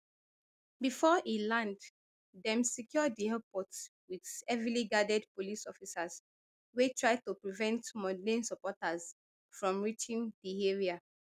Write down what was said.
bifor e land dem secure di airport wit heavily guarded police officers wey try to prevent mondlane supporters from reaching di area